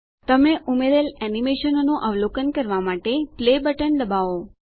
તમે ઉમેરેલ એનીમેશનોનું અવલોકન કરવા માટે પ્લે બટન દબાવો